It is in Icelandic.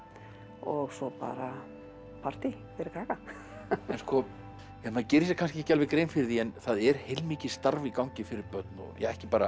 og svo bara partý fyrir krakka maður gerir sér kannski ekki alveg grein fyrir því en það er heilmikið starf í gangi fyrir börn ekki bara